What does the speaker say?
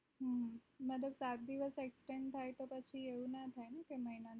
હમ મગર પાચ દિવસ exchange થાય તો પછી એવું નાં થાય કે મહિના માં